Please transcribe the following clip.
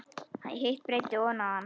Hitt breiddi hann oná hann.